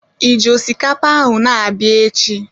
Ịji osikapa ahụ na-abịa echi?